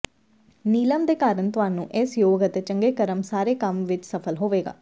ਨੀਲਮ ਦੇ ਕਾਰਨ ਤੁਹਾਨੂੰ ਇਸ ਯੋਗ ਅਤੇ ਚੰਗੇ ਕਰਮ ਸਾਰੇ ਕੰਮ ਵਿੱਚ ਸਫ਼ਲ ਹੋਵੇਗਾ